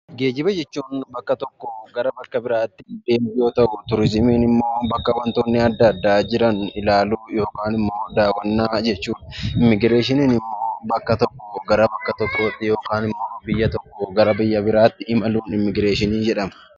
Geejjiba jechuun bakka tokkoo gara bakka biraatti deemuu yoo ta'u, turizimiin immoo bakka wantoonni adda addaa jiran ilaaluu yookiin daawwachuu jechuudha. Immigreeshiniin immoo biyya tokkoo gara biyya biraatti imaluu jechuudha.